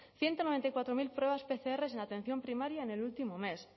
ciento noventa y cuatro mil pruebas pcr en atención primaria en el último mes